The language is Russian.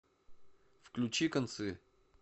включи концы